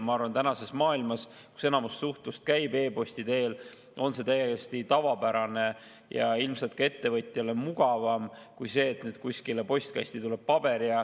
Ma arvan, et tänases maailmas, kus enamus suhtlust käib e-posti teel, on see täiesti tavapärane ja ilmselt ka ettevõtjale mugavam kui see, et mingi paber postkasti tuleb.